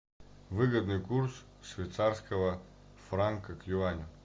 выгодный курс швейцарского франка к юаню